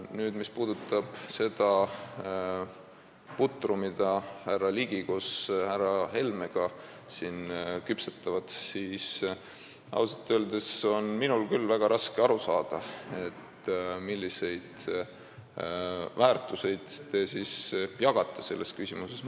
Nüüd, mis puudutab seda putru, mida härra Ligi koos härra Helmega siin küpsetab, siis ausalt öeldes on minul küll väga raske aru saada, milliseid väärtuseid te selles küsimuses jagate.